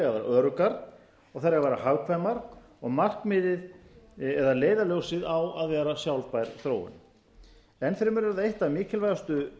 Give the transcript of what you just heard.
öruggar og þær eiga að vera hagkvæmar og markmiðið eða leiðarljósið á að vera sjálfbær þróun enn fremur er eitt af mikilvægustu